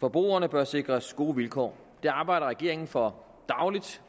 forbrugerne bør sikres gode vilkår det arbejder regeringen for dagligt